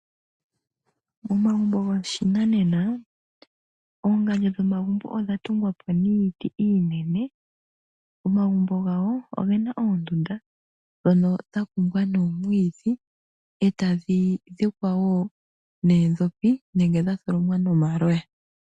Momagumbo goshinanena oongandjo dhomagumbo odhatungwa po niiti iinene, momagumbo gawo omuna oondunda dhoka dhatungwa noomwiidhi e ta dhi dhikwa wo noodhopi nenge dhatholomwa noomaloya.